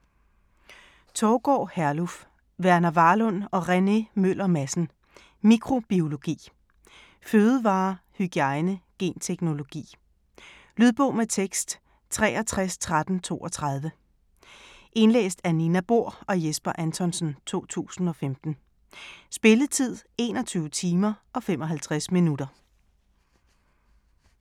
Thougaard, Herluf, Verner Varlund og Rene Møller Madsen: Mikrobiologi Fødevarer, hygiejne, genteknologi. Lydbog med tekst 631332 Indlæst af Nina Bohr og Jesper Anthonsen, 2015. Spilletid: 21 timer, 55 minutter.